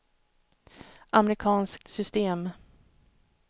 amerikanskt system